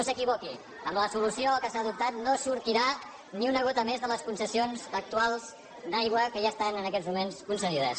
s’equivoqui amb la solució que s’ha adoptat no sortirà ni una gota més de les concessions actuals d’aigua que ja estan en aquests moments concedides